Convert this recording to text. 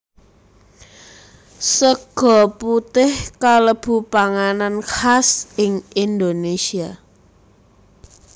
Sega putih kalebu panganan khas ing Indonesia